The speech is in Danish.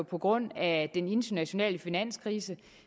på grund af den internationale finanskrise